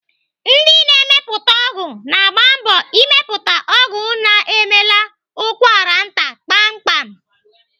Ndị na-emepụta ọgwụ na-agba mbọ ịmepụta ọgwụ na-emela ụkwaranta kpamkpam.